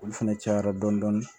Olu fɛnɛ cayara dɔɔnin